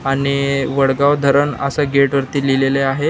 आणि वडगाव धरण अस गेट वरती लिहिलेले आहे.